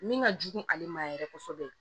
Min ka jugu ale ma yɛrɛ kosɛbɛ